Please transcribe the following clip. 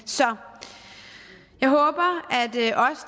så jeg håber